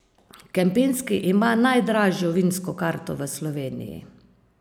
Kempinski ima najdražjo vinsko karto v Sloveniji.